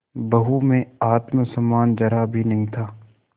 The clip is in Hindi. बहू में आत्म सम्मान जरा भी नहीं था